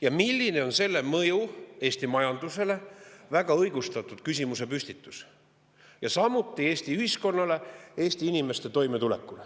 ja milline on selle mõju Eesti majandusele – väga õigustatud küsimusepüstitus –, samuti Eesti ühiskonnale ja Eesti inimeste toimetulekule.